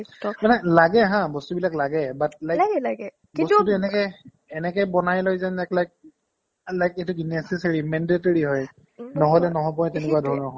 মানে লাগে হা বস্তুবিলাক লাগে but মানে কিন্তু বস্তুটো এনেকে এনেকে বনাই লৈ যেন একলাগ like এটো কি necessary mandatory হয় উম্ নহ'লে নহ'ব সেইটোৱে তেনেকুৱাধৰণৰ